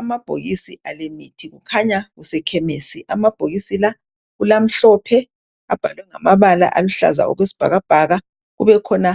Amabhokisi alemithi kukhanya kusekhemisi. Amabhokisi la kulamhlophe, abhalwe ngamabala aluhlaza okwesibhakabhaka. Kubekhona